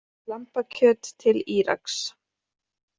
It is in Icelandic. Lambakjöt til Íraks